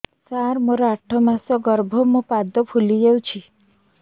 ସାର ମୋର ଆଠ ମାସ ଗର୍ଭ ମୋ ପାଦ ଫୁଲିଯାଉଛି